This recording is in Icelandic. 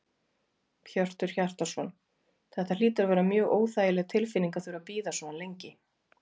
Hjörtur Hjartarson: Þetta hlýtur að vera mjög óþægileg tilfinning að þurfa að bíða svona lengi?